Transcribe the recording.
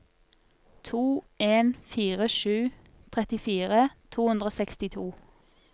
to en fire sju trettifire to hundre og sekstito